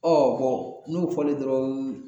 n'o fɔlen dɔrɔn